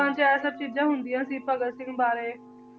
'ਚ ਇਹ ਸਭ ਚੀਜ਼ਾਂ ਹੁੰਦੀਆਂ ਸੀ ਭਗਤ ਸਿੰਘ ਬਾਰੇ